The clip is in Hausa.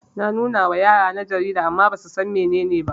Na nunawa yarana jarida amma basusan mene ne ba